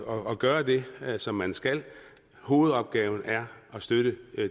og gøre det som man skal hovedopgaven er at støtte